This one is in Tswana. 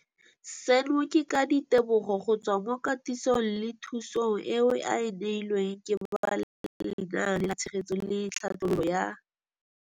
Seno ke ka ditebogo go tswa mo katisong le thu song eo a e neilweng ke ba Lenaane la Tshegetso le Tlhabololo ya